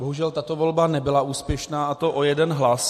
Bohužel, tato volba nebyla úspěšná, a to o jeden hlas.